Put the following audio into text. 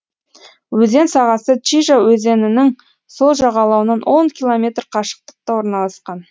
өзен сағасы чижа өзенінің сол жағалауынан он километр қашықтықта орналасқан